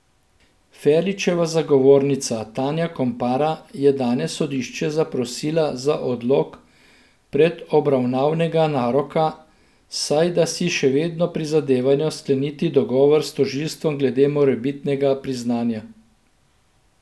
Ferličeva zagovornica Tanja Kompara je danes sodišče zaprosila za odlog predobravnavnega naroka, saj da si še vedno prizadevajo skleniti dogovor s tožilstvom glede morebitnega priznanja.